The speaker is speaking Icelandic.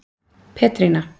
Petrína